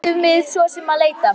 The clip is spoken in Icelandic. Hvert áttum við svo sem að leita?